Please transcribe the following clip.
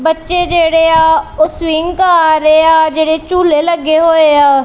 ਬੱਚੇ ਜਿਹੜੇ ਆ ਉਹ ਸਵਿੰਗ ਕਰ ਆ ਜਿਹੜੇ ਝੂਲੇ ਲੱਗੇ ਹੋਏ ਆ --